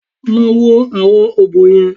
Lọ wo àwọn ọ̀bọ yẹn!